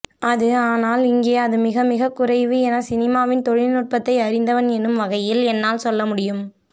அது ஆனால் இங்கே அது மிகமிகக்குறைவு என சினிமாவின் தொழில்நுட்பத்தை அறிந்தவன் என்னும் வகையில் என்னால் சொல்லமுடியும்